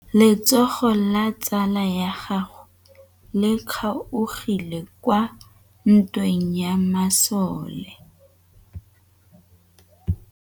Letsôgô la tsala ya gagwe le kgaogile kwa ntweng ya masole.